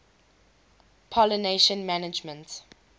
pollination management